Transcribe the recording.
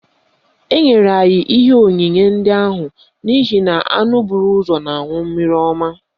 Enyere anyị ihe onyinye ndị ahụ n'ihi na anụ bụ ụzọ na-aṅụ mmiri ọma